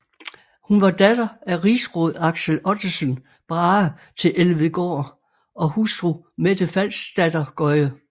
Hun var datter af rigsråd Axel Ottesen Brahe til Elvedgaard og hustru Mette Falksdatter Gøye